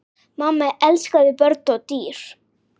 Mamma elskaði börn og dýr.